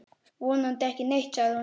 Vonandi ekki neitt, sagði hún.